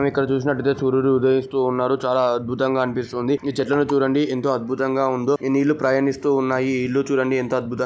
ఇక్కడ చూసినట్టయితే సూర్యుడు ఉదయిస్తున్నాడు. చాలా అద్భుతంగా అనిపిస్తుంది. ఈ చెట్లను చూడండి ఎంతో అద్భుతంగా ఉందో ఈ నీళ్లు ప్రయాణిస్తూ ఉన్నాయి. ఈ ఇల్లు చూడండి ఎంత అద్భుతం--